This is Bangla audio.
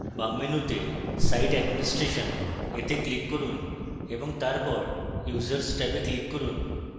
বাম মেনুতে site administration এ click করুন এবং তারপর users ট্যাবে click করুন